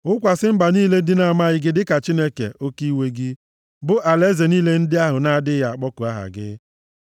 Wụkwasị mba niile ndị na-amaghị gị dịka Chineke oke iwe gị, bụ alaeze niile ndị ahụ na-adịghị akpọku aha gị;